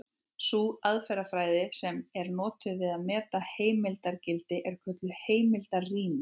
Sú aðferðafræði sem er notuð við að meta heimildargildi er kölluð heimildarýni.